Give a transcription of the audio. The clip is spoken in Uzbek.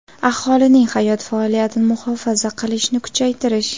aholining hayot faoliyatini muhofaza qilishni kuchaytirish;.